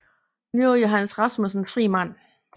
Nu er Johannes Rasmussen en fri mand